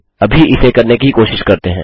अभी इसे करने की कोशिश करते हैं